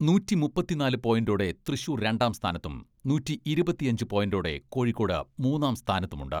നൂറ്റിമുപ്പത്തിനാല് പോയിന്റോടെ തൃശൂർ രണ്ടാം സ്ഥാനത്തും നൂറ്റിഇരുപത്തിയഞ്ച് പോയിന്റോടെ കോഴിക്കോട് മൂന്നാം സ്ഥാനത്തുമുണ്ട്.